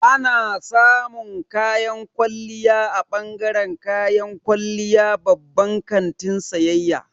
Ana samun kayan kwalliya a bangaren kayan kwalliya babban kantin sayayya.